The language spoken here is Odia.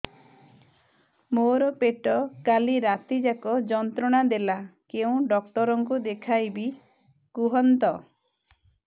ମୋର ପେଟ କାଲି ରାତି ଯାକ ଯନ୍ତ୍ରଣା ଦେଲା କେଉଁ ଡକ୍ଟର ଙ୍କୁ ଦେଖାଇବି କୁହନ୍ତ